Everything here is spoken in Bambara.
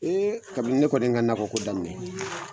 Ee kabini ne kɔni ye n ka nakɔ ko daminɛ.